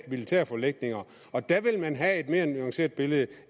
militære forlægninger og der vil man have et mere nuanceret billede